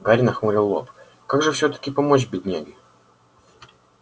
гарри нахмурил лоб как же всё-таки помочь бедняге